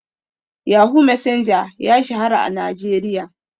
Yahoo Messenger ya shahara a Najeriya.